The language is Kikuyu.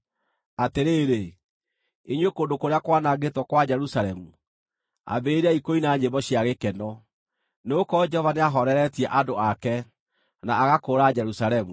Atĩrĩrĩ, inyuĩ kũndũ kũrĩa kwanangĩtwo kwa Jerusalemu, ambĩrĩriai kũina nyĩmbo cia gĩkeno, nĩgũkorwo Jehova nĩahooreretie andũ ake, na agakũũra Jerusalemu.